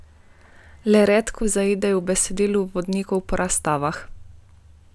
Le redko zaidejo v besedilo vodnikov po razstavah.